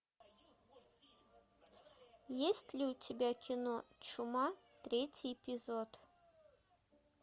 есть ли у тебя кино чума третий эпизод